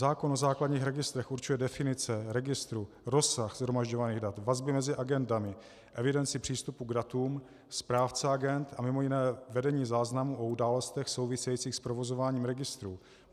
Zákon o základních registrech určuje definice registru, rozsah shromažďovaných dat, vazby mezi agendami, evidenci přístupu k datům, správce agend a mimo jiné vedení záznamů o událostech souvisejících s provozováním registrů.